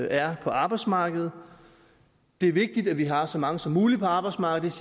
er på arbejdsmarkedet det er vigtigt at vi har så mange som muligt på arbejdsmarkedet